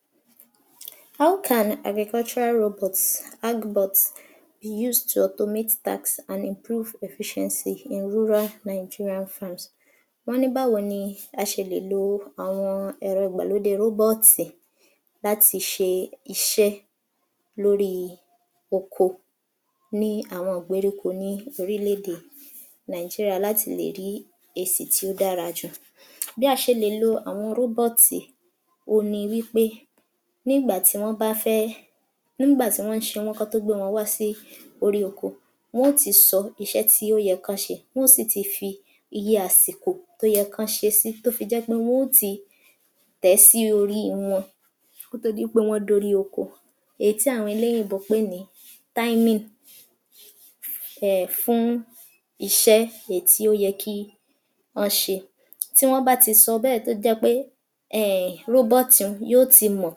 51. How can agricultural robot Agbot be use to automate task and improve efficiency in rural Nigeria first. Wọ́n ní báwo ni a ṣe lè lo àwọn ẹ̀rọ ìgbàlódé rọ́bọ́ọ̀tì láti ṣe iṣẹ́ lóríi oko ní àwọn ìgbéríko ní ní orílèèdè Nigeria láti lè rí èsì tí ó dára jù. Bí a ṣe lè lo àwọn rọ́bọ́ọ̀tì òhun ni wí pé ní ìgbà tí wọ́n bá fẹ́, ń gbà tí wọ́n ń ṣe wọ́n kọ́ tó gbé wọn wá sí orí oko, wọ́n ó ti sọ iṣẹ́ tí ó yẹ kán ṣe, wọ́n ó sì ti fi iye àsìkò tó yẹ kán ṣe é sí tó fi jẹ́ pé wó ti tẹ̀ẹ́ sí orí wọn kó tó di pé wọ́n dórí oko èyí tí àwọn olóyìnbó pè ní timing um fún iṣẹ́ èyí tí ó yẹ kí ọ́n ṣe. Tí wọ́n bá ti sọ bẹ́ẹ̀ tó jẹ́ pé um rọ́bọ́ọ̀tì un yó ti mọ̀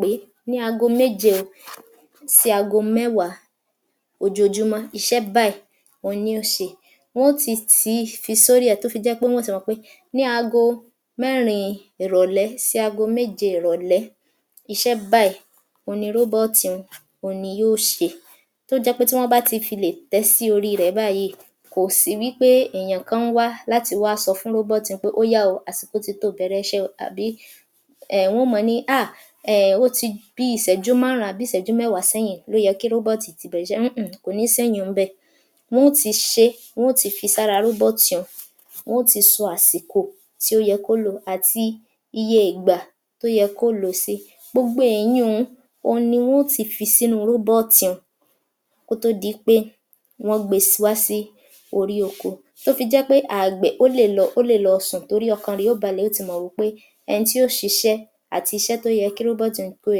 pé ní aago méje o sí aago mẹ́wàá ojoojumọ́ iṣẹ́ báyìí ohun ní ó ṣe. Wọn ó ti um fi sórí ẹ̀ tó fi jẹ́ pé wọ́n ó ti mọ̀ pé ní aago mẹ́rin ìrọ̀lẹ́ sí aago méje ìrọ̀lẹ́ iṣẹ́ báyìí òhun ni rọ́bọ́ọ̀tì un òhun ni yó ṣe tó jẹ́ pé tí wọ́n bá ti filè tẹ̀ ẹ́ sí oríirẹ̀ báyìí kò sí wí pé èèyàn kan ń wá láti wá sọ fún rọ́bọ́ọ̀tì un pé ó yá o àsìkò titó bẹ̀rẹ̀ẹṣẹ́ o àbí um áà um ó ti bíi Ìṣẹ́jú márùn-ún àbí Ìṣẹ́jú mẹ́wàá sẹ́yìn ni ó yẹ kí rọ́bọ́ọ̀tì ti bẹ̀rẹ̀ẹṣẹ́ ńǹ kò ní séyin un ń bẹ̀ wọn ó ti ṣe é wọ́n ó ti fi sára rọ́bọ́ọ̀tì un wọ́n ó ti sọ àsìkò tí ó yẹ kó lò àti iyeègbà tó yẹ kó lòósí. Gbogbo èyin un òhun wọn ó ti fi sínú rọ́bọ́ọ̀tì un kó tó di wí pé wọ́n gbe wá sí orí oko tó fi jẹ́ pé ààgbẹ̀ ó lè lọ um sùn torí ọkàn rẹ̀ ó balẹ̀ ó ti mọ̀ wí pé ẹni tí ó ṣiṣẹ́ àtiṣe tó yẹ kí rọ́bọ́ọ̀tì un tó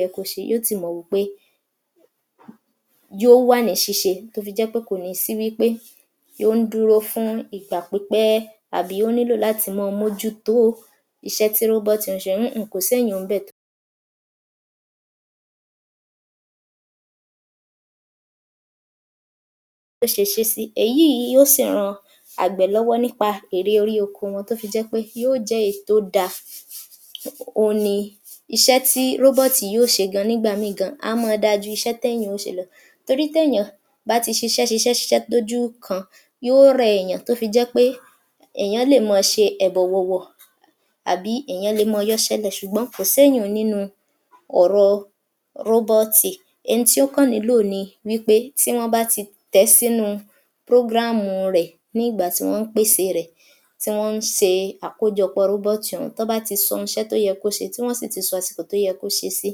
yẹ kó ṣe yó ti mọ̀ wí pé yó wà ní ṣíṣe tó fi jẹ́ pé kò ní sí wí pé ó ń dúró fún ìgbà pípẹ́ àbí ó nílò láti mọ́ọ mójú tó iṣẹ́ tí rọ́bọ́ọ̀tì un ṣe ńǹ kòséyin un ń bẹ̀ [blank] bó ṣe ṣe é sí, èyí yìí yó sì ran àgbẹ̀ lọ́wọ́ nípa èrè orí oko wọn tó fi jẹ́ pé yó jẹ̀ẹ́ èyí tó dáa um òhun ni iṣẹ́ tí rọ́bọ́ọ̀tì yóò ṣe gan nígbà míì gan a máa da ju iṣẹ́ téèyàn ó ṣe lọ torí téèyàn bá ti ṣiṣẹ́-ṣiṣẹ́-ṣiṣẹ́-ṣiṣẹ́ lójú kan yó rẹ èèyàn tó fi jẹ́ pé èèyàn lè mọ ṣe ẹ̀dọ̀ wọ̀wọ̀ àbí èèyàn lè mọ́ọ yọ́ṣẹ́ lẹ̀ ṣùgbọ́n kò séyin un nínú un ọ̀rọ rọ́bọ́ọ̀tì ẹni tí ó kàn nílò ni wí pé tí wọ́n bá ti tẹ̀ẹ́ sínú program rẹ̀ ní ìgbà tí wọ́n ń pèsèe rẹ̀ tí wọ́n ń ṣe Àkójọpọ̀ rọ́bọ́ọ̀tì ọ̀hún tán bá ti sọ iṣẹ́ tóyẹ kán ṣe tí wọ́n sì ti sọ àsìkò tó yẹ kó ṣeé sí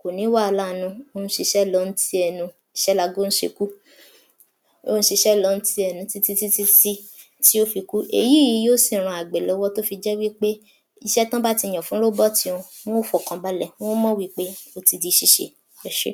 kò ní wàálà ń nú, ń ṣiṣẹ́ lọ ń tiẹ̀ nu iṣẹ́ laago ń ṣe kú, ó ń ṣíṣe lọ ń tiẹ̀ nu títítítí tí ó fi kú. Èyí yìí yó sì ran àgbẹ̀ lọ́wọ́ tó fi jẹ́ wí pé iṣẹ́ tán bá ti yàn fún rọ́bọ́ọ̀tì un wọ́n fọkàn balẹ̀ wọ́n mọ̀ wí pé ó ti di ṣíṣe. Ẹ ṣé.